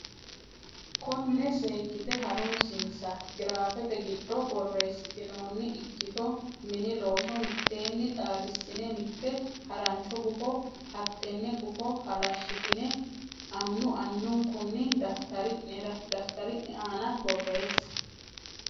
konne seekkite ha runsinsa giraafete giddo borreessitinoonni ikkito Mini Looso mitteenni xaadissine mitte harancho gufo hattenne gufo halashshitine annu annunkunni daftari ne aana borreesse.